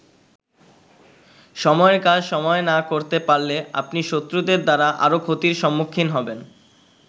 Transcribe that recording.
সময়ের কাজ সময়ে না করতে পারলে আপনি শত্রুদের দ্বারা আরো ক্ষতির সম্মুখীন হবেন।